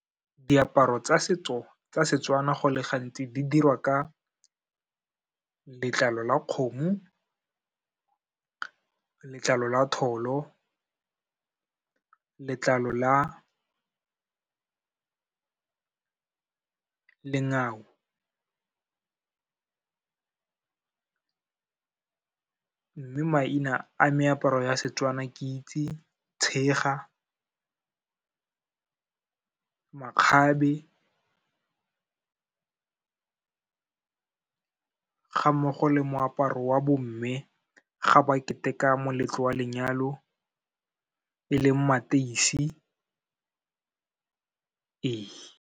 Diaparo tsa setso tsa Setswana go le gantsi di dirwa ka letlalo la kgomo, letlalo la tholo, letlalo la lengau. Mme maina a meaparo ya seTswana ke itse tshega, makgabe ga mmogo le moaparo wa bomme ga ba keteka moletlo wa lenyalo e leng mateisi, ee.